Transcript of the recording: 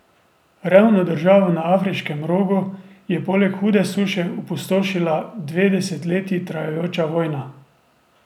Revno državo na Afriškem rogu je poleg hude suše opustošila dve desetletji trajajoča vojna.